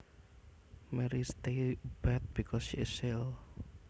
Mary stays abed because she is ill